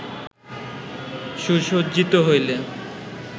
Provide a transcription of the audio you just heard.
সুসজ্জিত হইলে